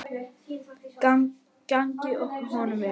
Gangi honum vel!